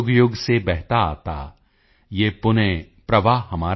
ਯੁਗਯੁਗ ਸੇ ਬਹਿਤਾ ਆਤਾ ਯਹ ਪੁਣਯ ਪ੍ਰਵਾਹ ਹਮਾਰਾ